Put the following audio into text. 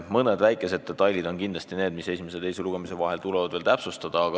Mõned väikesed detailid tuleb küll esimese ja teise lugemise vahel veel täpsustada.